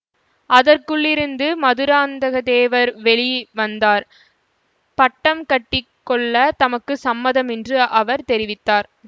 அதற்குள்ளிருந்து மதுராந்தக தேவர் வெளி வந்தார் பட்டம் கட்டி கொள்ள தமக்கு சம்மதம் என்று அவர் தெரிவித்தார்